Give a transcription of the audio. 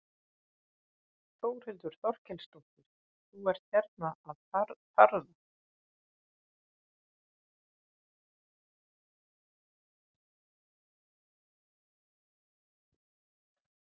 Þórhildur Þorkelsdóttir: Þú ert hérna að farða?